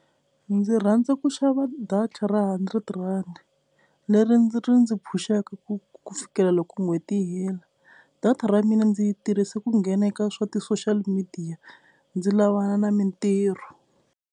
Ndzi rhandza ku xava data ra hundred rhandi leri ndzi ri ndzi pusha-ka ku ku fikela loko n'hweti yi hela, data ra mina ndzi yi tirhisa ku nghena eka swa ti-social media ndzi lavana na mintirho.